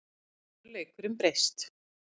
Nú hefur leikurinn breyst